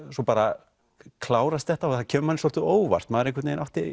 svo bara klárast þetta og það kemur manni svolítið á óvart maður átti